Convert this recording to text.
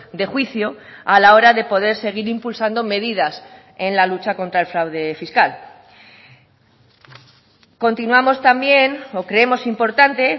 de juicio a la hora de poder seguir impulsando medidas en la lucha contra el fraude fiscal continuamos también o creemos importante